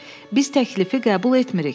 Biz təklifi qəbul etmirik.